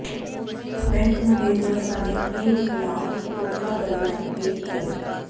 bank manager ਸਣੇ ਤਿੰਨ ਖਿਲਾਫ ਧੋਖਾਧੜੀ ਦਾ ਕੇਸ ਦਰਜ